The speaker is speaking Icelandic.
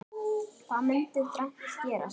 Þá mundi þrennt gerast